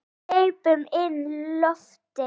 Hleypum inn lofti.